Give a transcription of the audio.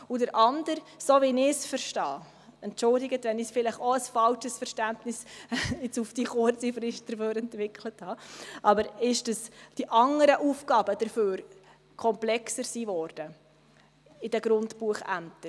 Der andere Aspekt ist – so wie ich es verstehe, entschuldigen Sie, wenn ich jetzt auf die Schnelle vielleicht ein falsches Verständnis entwickelt habe –, dass dafür die anderen Aufgaben in den Grundbuchämtern komplexer geworden sind.